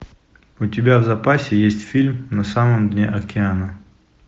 у тебя в запасе есть фильм на самом дне океана